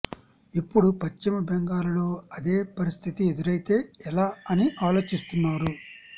ఇప్పుడు పశ్చిమ బెంగాల్ లో అదే పరిస్థితి ఎదురైతే ఎలా అని ఆలోచిస్తున్నారు